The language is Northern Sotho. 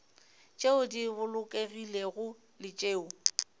tšeo di bolokegilego le tšeo